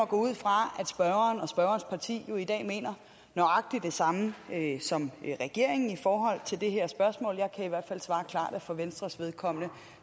gå ud fra at spørgeren og spørgerens parti i dag mener nøjagtig det samme som regeringen i forhold til det her spørgsmål jeg kan i hvert fald svare klart at for venstres vedkommende